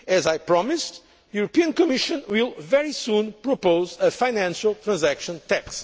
As I promised, the European Commission will also very soon propose a Financial Transaction